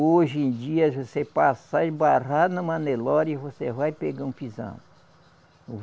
Hoje em dia, se você passar e embarrar numa Nelore, você vai pegar um pisão.